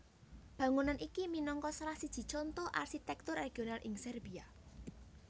Bangunan iki minangka salah siji conto arsitèktur regional ing Serbia